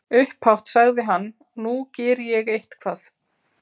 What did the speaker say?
Upphátt sagði hann: Nú geri ég eitthvað.